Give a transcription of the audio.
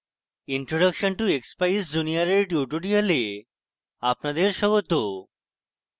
introduction to expeyes junior এর tutorial আপনাদের স্বাগত